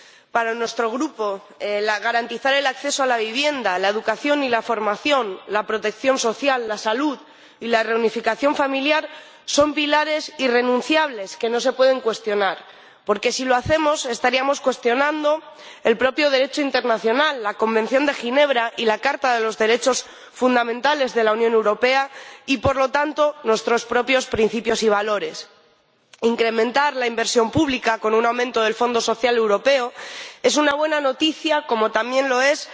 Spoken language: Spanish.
Para nuestro grupo, garantizar el acceso a la vivienda, la educación y la formación, la protección social, la salud y la reunificación familiar son pilares irrenunciables que no se pueden cuestionar, porque si lo hacemos estaríamos cuestionando el propio Derecho internacional, la Convención de Ginebra y la Carta de los Derechos Fundamentales de la Unión Europea y, por lo tanto, nuestros propios principios y valores. Incrementar la inversión pública con un aumento del Fondo Social Europeo es una buena noticia, como también lo es